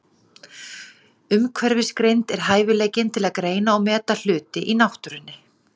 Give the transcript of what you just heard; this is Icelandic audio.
Umhverfisgreind er hæfileikinn til að greina og meta hluti í náttúrunni.